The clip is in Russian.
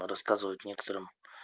рассказывают некоторым